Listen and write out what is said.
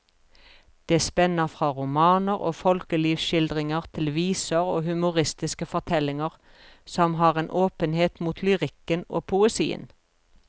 Det spenner fra romaner og folkelivsskildringer til viser og humoristiske fortellinger som har en åpenhet mot lyrikken og poesien.